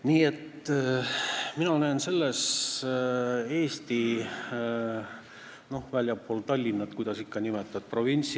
Nii et mina näen selles eelnõus väljaspool Tallinna asuva Eesti – no kuidas seda ikka nimetada?